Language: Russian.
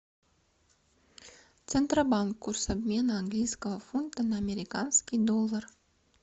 центробанк курс обмена английского фунта на американский доллар